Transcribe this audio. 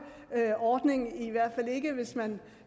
ordning i hvert fald ikke hvis man